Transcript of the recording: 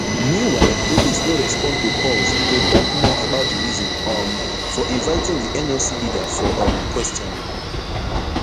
meanwhile police no respond to calls to tok more about di reason um for inviting di nlc leader for um questioning